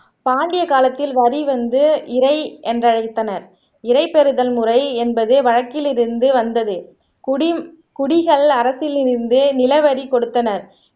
பாண்டிய காலத்தில் வரி வந்து இறை என்று அழைத்தனர் இரைபெறுதல் முறை என்பது வழக்கில் இருந்து வந்தது குடிம் குடிகள் அரசிலிருந்து நிலவரி கொடுத்தனர்